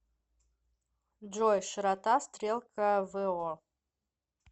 джой широта стрелка во